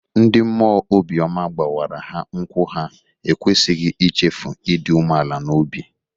Ndị mmụọ obi ọma gbawara ha nkwụ ha ekwesịghị ichefu ịdị umeala n'obi.